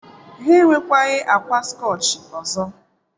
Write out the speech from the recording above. Ha enwekwaghị akwa skọchị ọzọ.